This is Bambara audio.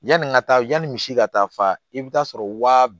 Yanni ka taa yani misi ka taa fa i bɛ taa sɔrɔ waa